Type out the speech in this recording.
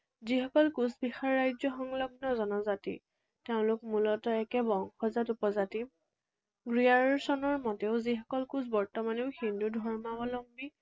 যিসকল কোচবিহাৰ ৰাজ্য সংলগ্ন জনজাতি, তেওঁলোক মূলতঃ একে বংশজাত উপজাতি। ৰিয়াৰছনৰ মতেও যিসকল কোচ বৰ্তমানেও হিন্দু ধৰ্মাৱলম্বী